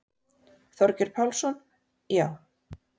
Þorgeir Pálsson: Já.